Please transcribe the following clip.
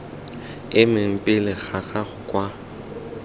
emeng pele ga gago kwa